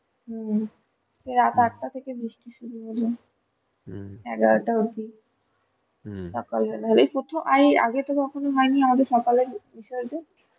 হম সেই রাত আঠটা থেকে বৃষ্টি শুরু হলো এগারোটা অবধি এই প্রথম হলো আগেতো কোনদিন হয়নি সকালে বিসর্জন